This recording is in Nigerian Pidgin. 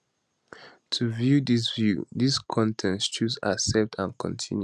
to um view dis view dis con ten t choose accept and continue